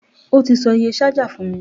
O tí sọ iye ṣájà fún mi.